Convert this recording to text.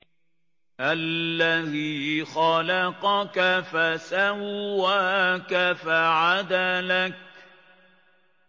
الَّذِي خَلَقَكَ فَسَوَّاكَ فَعَدَلَكَ